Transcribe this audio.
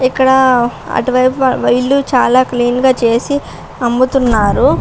ఇక్కడ అటువైపు వీళ్ళు క్లీన్ గా చేసి అమ్ముతూ ఉన్నారు.